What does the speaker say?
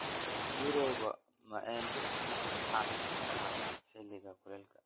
Mirooga maembe ni caan ka ah xilliga kule.